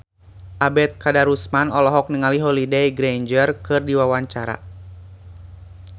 Ebet Kadarusman olohok ningali Holliday Grainger keur diwawancara